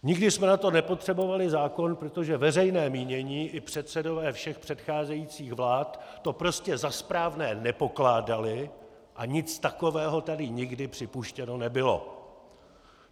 Nikdy jsme na to nepotřebovali zákon, protože veřejné mínění i předsedové všech předcházejících vlád to prostě za správné nepokládali a nic takového tady nikdy připuštěno nebylo.